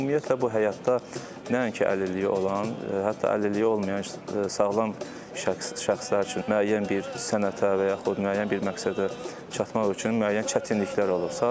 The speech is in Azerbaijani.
Ümumiyyətlə bu həyatda nəinki əlilliyi olan, hətta əlilliyi olmayan sağlam şəxslər üçün müəyyən bir sənətə və yaxud müəyyən bir məqsədə çatmaq üçün müəyyən çətinliklər olur.